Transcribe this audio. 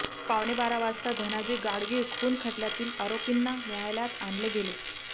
पावणेबारा वाजता धनाजी गाडगीळ खून खटल्यातील आरोपींना न्यायालयात आणले गेले